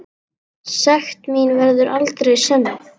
Sekt mín verður aldrei sönnuð.